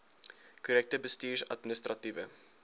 korrekte bestuurs administratiewe